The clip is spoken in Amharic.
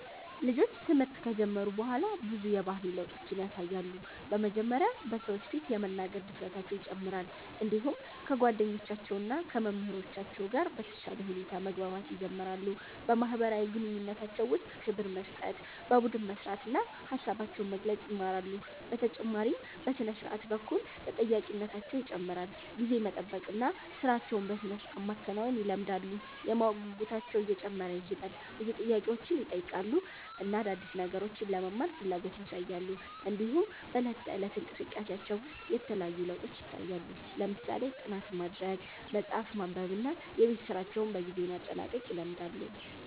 ልጆች ትምህርት ከጀመሩ በኋላ ብዙ የባህሪ ለውጦችን ያሳያሉ። በመጀመሪያ በሰዎች ፊት የመናገር ድፍረታቸው ይጨምራል፣ እንዲሁም ከጓደኞቻቸው እና ከመምህራኖቻቸው ጋር በተሻለ ሁኔታ መግባባት ይጀምራሉ። በማህበራዊ ግንኙነታቸው ውስጥ ክብር መስጠት፣ በቡድን መስራት እና ሀሳባቸውን መግለጽ ይማራሉ። በተጨማሪም በሥነ-ስርዓት በኩል ተጠያቂነታቸው ይጨምራል፣ ጊዜን መጠበቅ እና ሥራቸውን በሥርዓት ማከናወን ይለምዳሉ። የማወቅ ጉጉታቸውም እየጨመረ ይሄዳል፣ ብዙ ጥያቄዎችን ይጠይቃሉ እና አዲስ ነገሮችን ለመማር ፍላጎት ያሳያሉ። እንዲሁም በዕለት ተዕለት እንቅስቃሴያቸው ውስጥ የተለያዩ ለውጦች ይታያሉ፣ ለምሳሌ ጥናት ማድረግ፣ መጽሐፍ ማንበብ እና የቤት ስራቸውን በጊዜ ማጠናቀቅ ይለምዳሉ።